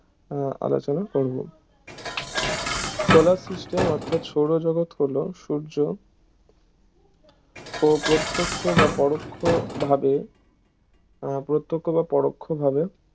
আলোচনা করব Solar system অর্থাৎ সৌরজগত হলো সূর্য প্রত্যক্ষ বা পরোক্ষভাবে উহ প্রত্যক্ষ বা পরোক্ষভাবে